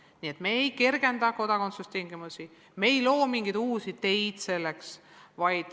Nii et me ei kergenda kodakondsuse saamise tingimusi, me ei loo mingeid uusi teid selleks.